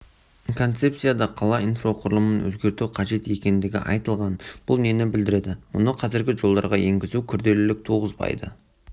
концепцияда қала инфроқұрылымын өзгерту қажет екендігі айтылған бұл нені білдіреді мұны қазіргі жолдарға енгізу күрделілік туғызбайды